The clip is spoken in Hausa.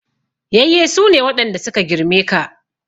Yayye su ne waɗanda su ka girme ka.